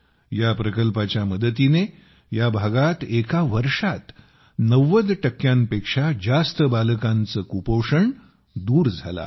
या प्रकल्पाच्या मदतीने या भागात एका वर्षात 90 टक्क्यांपेक्षा जास्त बालकांचे कुपोषण दूर झाले आहे